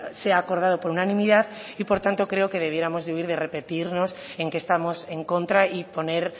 sea acordado por unanimidad y por tanto creo que debiéramos de huir de repetirnos en que estamos en contra y poner